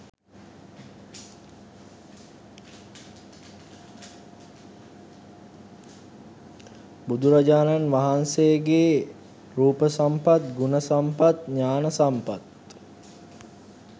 බුදුරජාණන් වහන්සේගෙ රූප සම්පත් ගුණ සම්පත් ඥාන සම්පත්